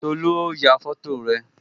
Tolu ó ya foto rẹ